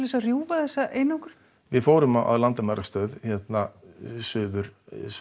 að rjúfa einangrunina við fórum á landamærastöð Suður